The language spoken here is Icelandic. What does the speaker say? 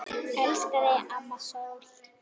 Elska þig, amma sól.